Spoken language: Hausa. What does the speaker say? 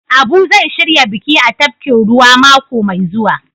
Abu zai shirya biki a tafkin ruwa mako Mai zuwa.